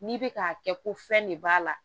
N'i bɛ k'a kɛ ko fɛn de b'a la